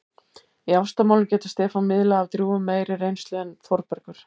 Í ástamálum getur Stefán miðlað af drjúgum meiri reynslu en Þórbergur.